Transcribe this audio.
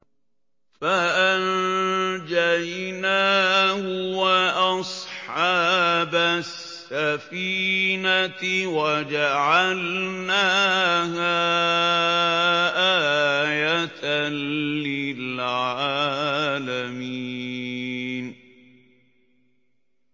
فَأَنجَيْنَاهُ وَأَصْحَابَ السَّفِينَةِ وَجَعَلْنَاهَا آيَةً لِّلْعَالَمِينَ